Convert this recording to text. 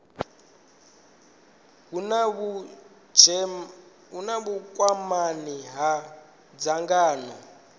hu na vhukwamani na dzangano